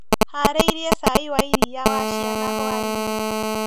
Harĩirie cai wa iria wa ciana hwainĩ.